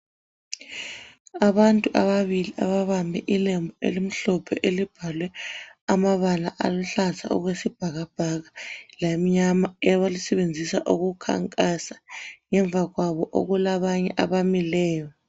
Abantu ababili ababambe ilembu elimhlophe elibhalwe amabala aluhlaza okwesibhakabhaka lamnyama abalisebenzisa ukukhankasa ngemva kwabo okulabanye abamileyo.